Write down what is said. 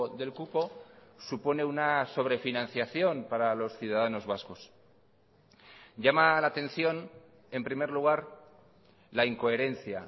del cupo supone una sobre financiación para los ciudadanos vascos llama la atención en primer lugar la incoherencia